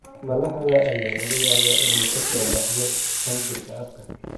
Malaxda ayaa laga yaabaa inay ka soo baxdo qanjirka afka.